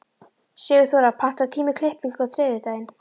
Sigurþóra, pantaðu tíma í klippingu á þriðjudaginn.